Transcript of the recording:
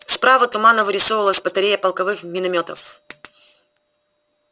справа туманно вырисовывалась батарея полковых миномётов